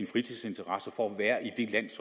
fritidsinteresser for